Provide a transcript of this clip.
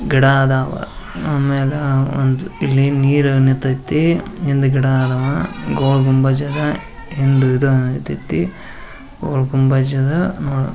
ಗಿಡ ಅದಾವ ಆಮೇಲೆ ಹಿಂದೆ ನೀರು ನಿಂತೈತಿ ಇಂದೇ ಗಿಡ ಇದ್ದಾವ ಗೋಲ್ ಗುಂಬಜ ಅದ ಒಂದು ಇದಾಯಿತತಿ ಗೋಲ್ ಗುಂಬಾಜ.